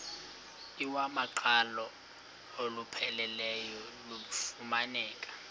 iwamaqhalo olupheleleyo lufumaneka